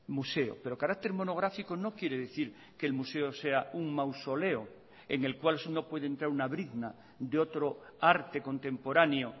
museo pero carácter monográfico no quiere decir que el museo sea un mausoleo en el cual no puede entrar una brizna de otro arte contemporáneo